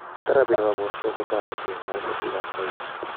Therapy nebo borto kotereti en kaimutikap aywa.